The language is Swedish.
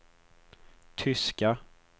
tyska